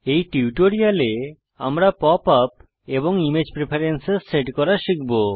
এই টিউটোরিয়ালে আমরা পপ আপ এবং ইমেজ প্রেফারেন্সস সেট করা শিখব